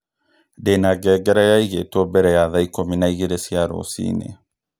Ndĩna ngengerekĩaigĩtwo mbele ya thaa ikũmi na igĩrĩ cia rũcinĩ